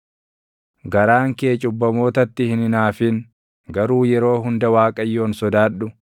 Garaan kee cubbamootatti hin hinaafin; garuu yeroo hunda Waaqayyoon sodaadhu.